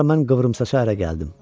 Sonra mən qıvrımsaça ərə gəldim.